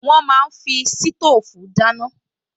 Wọ́n máa ń fi sítóòfù dáná